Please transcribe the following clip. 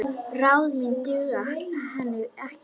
Ráð mín duga henni ekki.